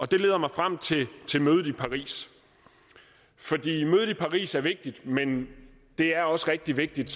det leder mig frem til mødet i paris fordi mødet i paris er vigtigt men det er også rigtig vigtigt